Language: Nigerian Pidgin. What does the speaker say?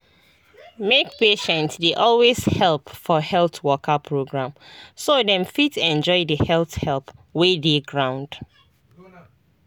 make patients dey always help for health waka program so dem fit enjoy the health help wey dey ground.